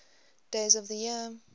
days of the year